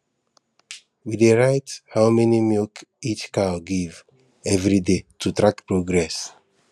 we dey write how many milk each cow give every day to track progress